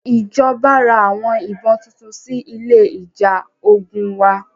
Ìjọba ra àwọn ìbọn tuntun sí ilé ìjà ogun wa.